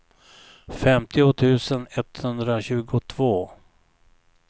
femtio tusen etthundratjugotvå